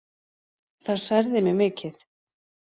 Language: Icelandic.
Það særði mig mikið.